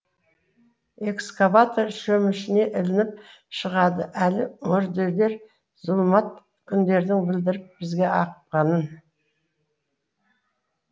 экскаватор шөмішіне ілініп шығады әлі мүрделер зұлмат күндердің білдіріп бізге ақпанын